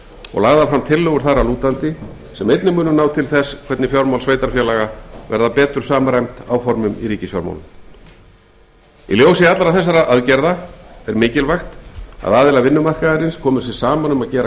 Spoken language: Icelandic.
og lagðar fram tillögur þar að lútandi sem einnig munu ná til þess hvernig fjármál sveitarfélaga verða betur samræmd áformum í ríkisfjármálum í ljósi allra þessara aðgerða er mikilvægt að aðilar vinnumarkaðarins komi sér saman um að gera